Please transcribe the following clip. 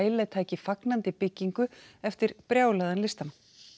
Velje taki fagnandi byggingu eftir brjálaðan listamann